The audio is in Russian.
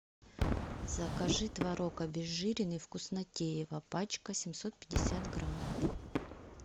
закажи творог обезжиренный вкуснотеево пачка семьсот пятьдесят грамм